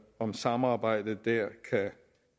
om samarbejdet dér